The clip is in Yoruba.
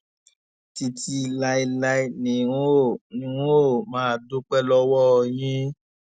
títí láé ni n óò n óò máa dúpẹ lọwọ yín